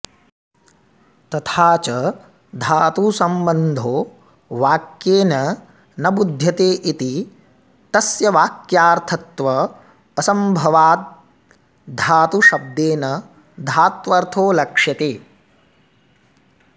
तथा च धातुसंबन्धो वाक्येन न बुध्यते इति तस्य वाक्यार्थत्वाऽसंभवाद्धातुशब्देन धात्वर्थो लक्ष्यते